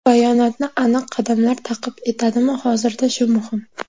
Bayonotni aniq qadamlar ta’qib etadimi hozirda shu muhim.